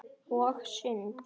Og sund.